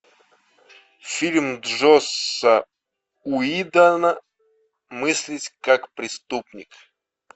фильм джосса уидона мыслить как преступник